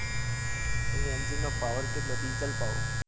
ભાઈ engine નો power કેટલો diesel power